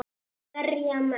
Berja menn?